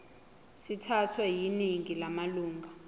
sithathwe yiningi lamalunga